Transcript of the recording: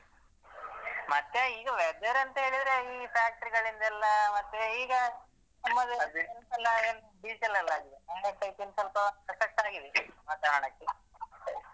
ಮತ್ತೆ ಈಗ weather ಅಂದ್ರೆ ಹೇಳಿದ್ರೆ ಈ factory ಗಳಿಂದ ಎಲ್ಲಾ ಮತ್ತೆ ಈಗ ನಮ್ಮದು effect ಆಗಿದೆ ಸಾಧಾರ್ಣಕ್ಕೆ.